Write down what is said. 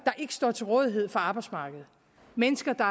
ikke står til rådighed for arbejdsmarkedet mennesker der